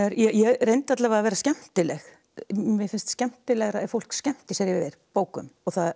ég reyndi alla vega að vera skemmtileg mér finnst skemmtilegra ef fólk skemmtir sér yfir bókum